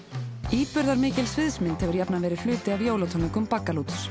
íburðarmikil sviðsmynd hefur jafnan verið hluti af jólatónleikum Baggalúts